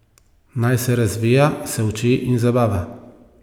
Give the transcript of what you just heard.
Naj se razvija, se uči in zabava.